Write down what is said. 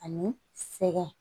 Ani sɛgɛn